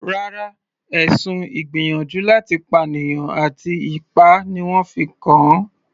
Rárá, ẹ̀sùn ìgbìyànjú láti pànìyàn àti ipá ni wọ́n fi kàn an.